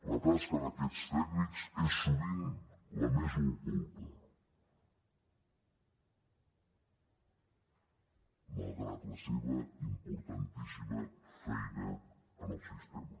la tasca d’aquests tècnics és sovint la més oculta malgrat la seva importantíssima feina en el sistema